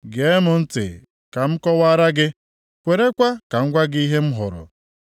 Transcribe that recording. “Gee m ntị ka m kọwaara gị; kwerekwa ka m gwa gị ihe m hụrụ,